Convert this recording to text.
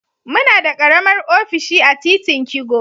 Muna da karamar ofishi a titin kigo.